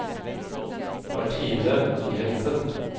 Martine Jenssen